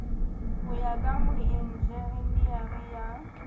ho ya ka moenjenere ya